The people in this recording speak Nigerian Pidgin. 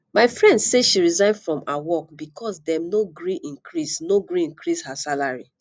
my friend say she resign from her work because dem no gree increase no gree increase her salary